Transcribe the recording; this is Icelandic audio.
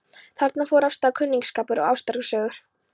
Þarna fóru af stað kunningsskapur og ástarsögur.